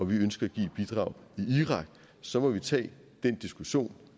vi ønsker at give et bidrag i irak så må vi tage den diskussion